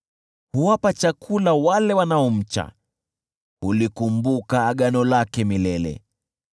Huwapa chakula wale wanaomcha, hulikumbuka agano lake milele.